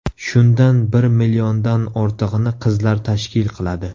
Shundan bir milliondan ortig‘ini qizlar tashkil qiladi.